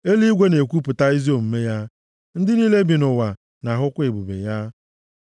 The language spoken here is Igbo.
Eluigwe na-ekwuwapụta ezi omume ya; ndị niile bi nʼụwa na-ahụkwa ebube ya.